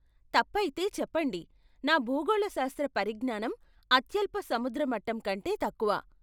తప్పైతే చెప్పండి, నా భూగోళశాస్త్ర పరిజ్ఞానం అత్యల్ప సముద్ర మట్టం కంటే తక్కువ.